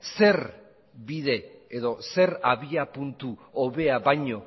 zer bide edo zer abiapuntu hobea baino